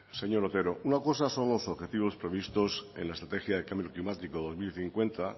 zurea da hitza señor otero una cosa son los objetivos previstos en la estrategia de cambio climático dos mil cincuenta